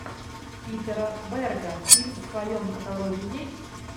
питера берга фильм в твоем каталоге есть